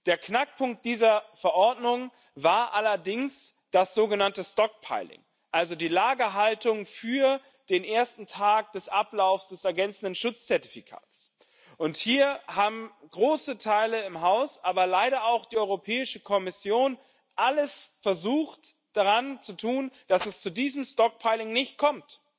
Der Knackpunkt dieser Verordnung war allerdings das sogenannte stockpiling also die Lagerhaltung für den ersten Tag des Ablaufs des ergänzenden Schutzzertifikats. Und hier haben große Teile im Haus, aber leider auch die Europäische Kommission, versucht, alles zu tun, dass es zu diesem stockpiling nicht kommt